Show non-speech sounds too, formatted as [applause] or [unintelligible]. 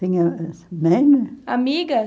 Tinha. [unintelligible] Amiga?